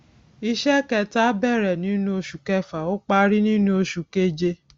iṣẹ kẹta bẹrẹ nínú oṣù kẹfà ó parí nínú oṣù keje